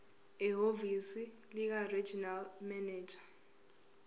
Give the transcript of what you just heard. ehhovisi likaregional manager